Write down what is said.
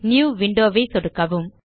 new window ஐ சொடுக்கவும்